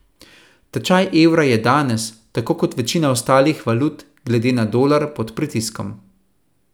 Tečaj evra je danes, tako kot večina ostalih valut, glede na dolar pod pritiskom.